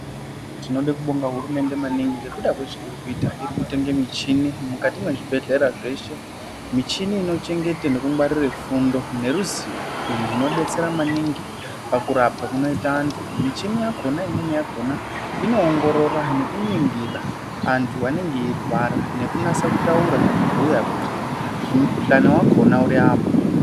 Tinode kubonga hurumende maningi ngekuda kwezveirikuita irikutenge mishini mukati mwezvibhedhlera zveshe michini. Michini inochengete nekungwarire fundo neruzivo izvi zvinobetsera maningi pakurapa kunoita antu. Michini yakona imweni yakona inoongorora nekuningira antu anenge eirwara nekunasa kutaura nekubhuya kuti mukuhlani vakona uri apa.